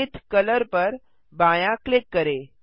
zenith colour पर बायाँ click करें